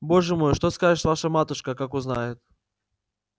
боже мой что скажет ваша матушка как узнает